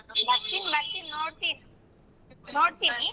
ಬರ್ತಿನ್ ಬರ್ತೀನ್ ನೋಡ್ತೀನ್, ನೋಡ್ತೀನಿ.